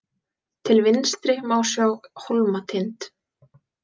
Til vinstri má sjá Hólmatind.